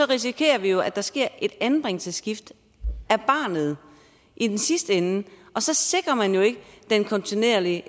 risikerer vi jo at der sker et anbringelsesskift af barnet i den sidste ende og så sikrer man jo ikke den kontinuitet i